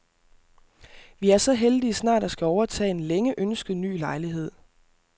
Vi er så heldige snart at skulle overtage en længe ønsket ny lejlighed.